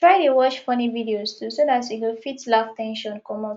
try dey watch funny videos too so dat you go fit laugh ten sion comot